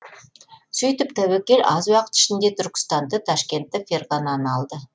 сөйтіп тәуекел аз уақыт ішінде түркістанды ташкентті ферғананы алды